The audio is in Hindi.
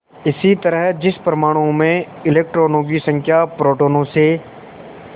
इसी तरह जिस परमाणु में इलेक्ट्रॉनों की संख्या प्रोटोनों से